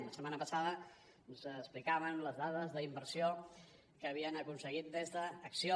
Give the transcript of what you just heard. la setmana passada ens explicaven les dades d’inversió que havien aconseguit des d’acció